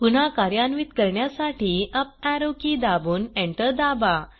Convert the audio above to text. पुन्हा कार्यान्वित करण्यासाठी अप एरो के दाबून एंटर दाबा